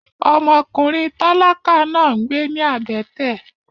Òåì íå ìåíåå ó ìåíÿ íåò.